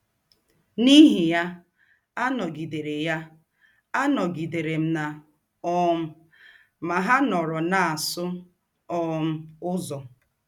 N’íhì yà, ànọ̀gidèrè yà, ànọ̀gidèrè m nà um Mahanoro na - àsụ̀ um Ǔzọ̄.